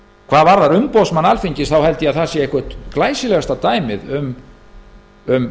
hvað varðar umboðsmann alþingis þá held ég að það sé eitthvert glæsilegasta dæmið um